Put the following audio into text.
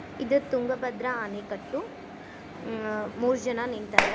ಇದು ತುಂಗಭದ್ರಾ ಅಣೆಕಟ್ಟು ಮ್ಮ್- ಅ ಮೂರ್ ಜನ ನಿಂತಾರ.